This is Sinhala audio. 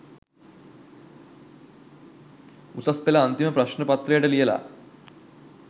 උසස් පෙළ අන්තිම ප්‍රශ්න පත්‍රයට ලියල